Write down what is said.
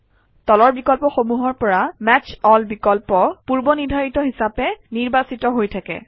তলৰ বিকল্পসমূহৰ পৰা মেচ এল বিকল্প পূৰ্বনিৰ্ধাৰিত হিচাপে নিৰ্বাচিত হৈ থাকে